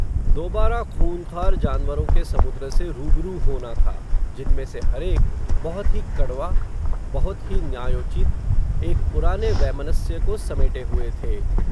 दोबारा खूँखार जान वरों के समुद्र से रूबरू होना था, जिनमें से हरेक, बहुत ही कड़वा, बहुत ही न्यायोचित, एक पुराने वैमनस्य को समेटे हुए थे